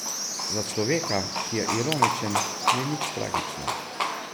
Za človeka, ki je ironičen, ni nič tragično.